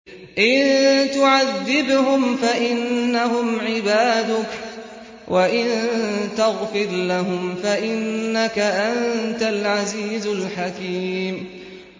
إِن تُعَذِّبْهُمْ فَإِنَّهُمْ عِبَادُكَ ۖ وَإِن تَغْفِرْ لَهُمْ فَإِنَّكَ أَنتَ الْعَزِيزُ الْحَكِيمُ